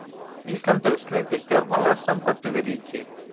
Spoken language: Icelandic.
Ísland hefur slitið stjórnmálasambandi við ríki.